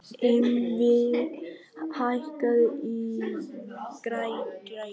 Yngvi, hækkaðu í græjunum.